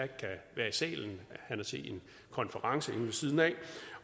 kan være i salen han er til en konference inde ved siden af